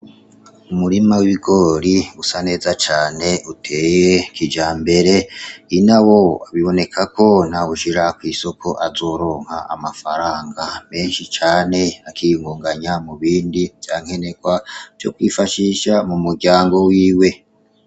Umurima w'igori usa neza cane uteye kija mbere ina wo abiboneka ko nawushira kw'isoko azoronka amafaranga menshi cane akiyngunganya mu bindi vyankenerwa vyo kwifashisha mu muryango wiwe.